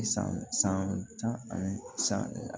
San san tan ani san